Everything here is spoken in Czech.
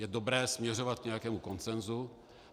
Je dobré směřovat k nějakému konsenzu.